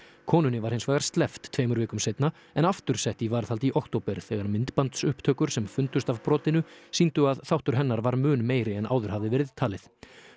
konunni var hins vegar sleppt tveimur vikum seinna en aftur sett í varðhald í október þegar myndbandsupptökur sem fundust af brotinu sýndu að þáttur hennar var mun meiri en áður hafði verið talið